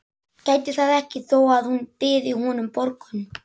Gæti það ekki þó að hún byði honum borgun.